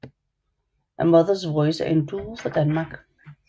A Mothers Voice er en duo fra Danmark